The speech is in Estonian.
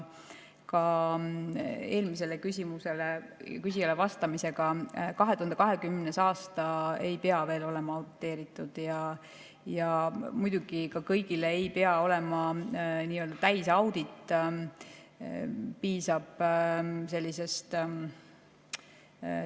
2020. aasta ei pea veel olema auditeeritud ja muidugi ei pea ka kõigil olema nii‑öelda täisaudit.